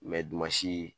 dumasi